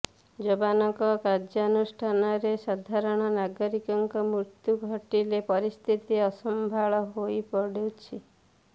ଯବାନଙ୍କ କାର୍ଯ୍ୟାନୁଷ୍ଠାନରେ ସାଧାରଣ ନାଗରିକଙ୍କ ମୃତ୍ୟୁ ଘଟିଲେ ପରିସ୍ଥିତି ଅସମ୍ଭାଳ ହୋଇପଡୁଛି